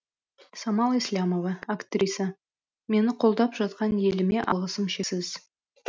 самал еслямова актриса мені қолдап жатқан еліме алғысым шексіз